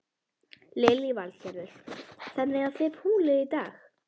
Lillý Valgerður: Þannig að þið púlið í dag?